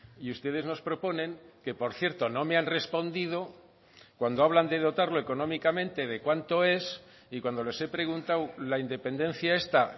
y ustedes nos proponen que por cierto no me han respondido cuando hablan de dotarlo económicamente de cuánto es y cuándo les he preguntado la independencia esta